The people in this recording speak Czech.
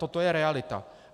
Toto je realita.